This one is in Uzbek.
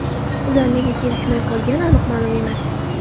Ular nega kelishmay qolgani aniq ma’lum emas.